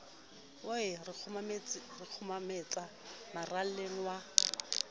wa re kgothometsa maralleng wa